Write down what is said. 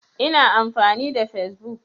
Ina amfani da fesbuk.